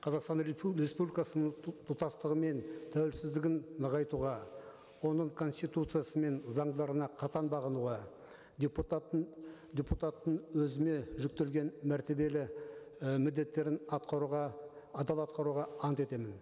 қазақстан республикасының тұтастығы мен тәуелсіздігін нығайтуға оның конституциясы мен заңдарына қатаң бағынуға депутаттың депутаттың өзіме жүктелген мәртебелі і міндеттерін атқаруға адал атқаруға ант етемін